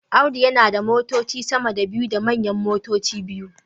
Audu yana da motoci sama da biyu da manyan motoci biyu